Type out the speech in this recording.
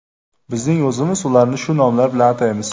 Bizning o‘zimiz ularni shu nomlar bilan ataymiz.